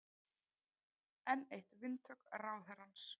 Enn eitt vindhögg ráðherrans